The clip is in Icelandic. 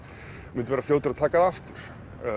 mundi vera fljótur að taka það aftur